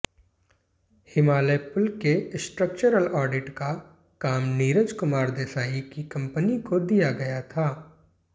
हिमालय पुल के structural audit का काम नीरजकुमार देसाई की कंपनी को दिया गया था